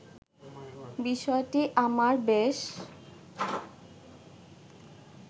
বিষয়টি আমার বেশ